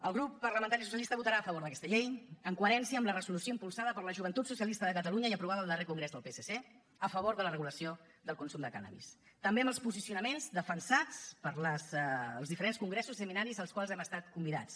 el grup parlamentari socialista votarà a favor d’aquesta llei en coherència amb la resolució impulsada per la joventut socialista de catalunya i aprovada al darrer congrés del psc a favor de la regulació del consum de cànnabis també amb els posicionaments defensats pels diferents congressos i seminaris als quals hem estat convidats